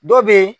Dɔ bɛ ye